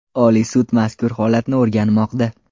Oliy sud mazkur holatni o‘rganmoqda.